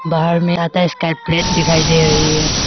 बाहर में आधा स्काई प्लेट दिखाई दे रही है।